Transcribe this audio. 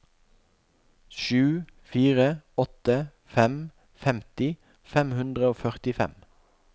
sju fire åtte fem femti fem hundre og førtifem